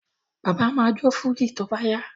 Bàbá ma jó fújì tó bá yá